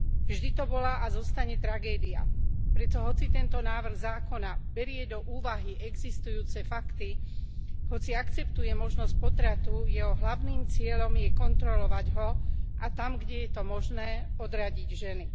Vždy to bola a zostane tragédia. Preto hoci tento návrh zákona berie do úvahy existujúce fakty, hoci akceptuje možnosť potratu, jeho hlavným cieľom je kontrolovať ho a tam, kde je to možné, odradiť ženy.